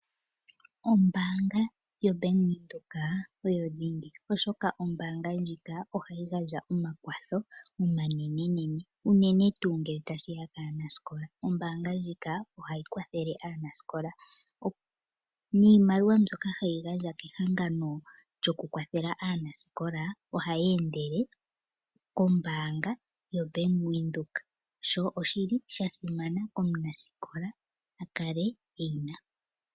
Ombaanga yaBank Windhoek oyo dhingi, oshoka ombaanga ndjika ohayi gandja omakwatho omanene uune tuu ngele tashiya kaanasikola. Ombaanga ndjika ohayi kwathele aanasikola niimaliwa mbyoka hayi gandjwa kehangano lyokukwathela aanasikola ohayi endele kombaanga yoBank Windhoek, sho oshili sha simana opo omunasikola a kale eyina.